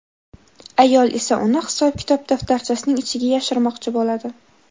ayol esa uni hisob-kitob daftarchasining ichiga yashirmoqchi bo‘ladi.